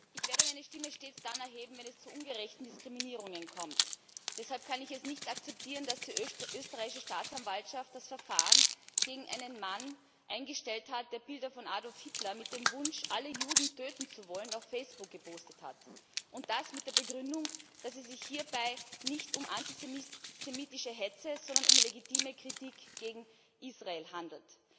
Herr Präsident! Ich werde meine Stimme stets dann erheben, wenn es zu ungerechten Diskriminierungen kommt. Deshalb kann ich es nicht akzeptieren, dass die österreichische Staatsanwaltschaft das Verfahren gegen einen Mann eingestellt hat, der Bilder von Adolf Hitler mit dem Wunsch, alle Juden töten zu wollen, auf Facebook gepostet hat, und das mit der Begründung, dass es sich hierbei nicht um antisemitische Hetze, sondern um legitime Kritik an Israel handele.